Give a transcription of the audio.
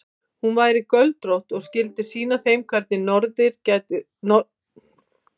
Hún væri göldrótt og skyldi sýna þeim hvernig nornir gætu sprænt lengra en strákar.